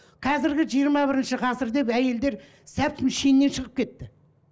қазіргі жиырма бірінші ғасыр деп әйелдер шеннен шығып кетті